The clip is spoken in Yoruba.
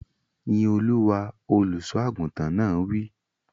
Yín Olúwa! Olùsọ àgùntàn náà wí.